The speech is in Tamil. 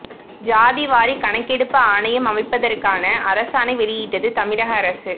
சாதி வாரி கணகெடுப்பு ஆணையம் அமைப்பதற்கான அரசாணை வெளியிட்டது தமிழக அரசு